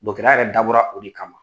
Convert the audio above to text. yɛrɛ dabɔra o de kama.